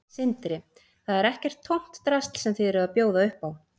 Sindri: Þetta er ekkert tómt drasl sem þið eruð að bjóða upp á?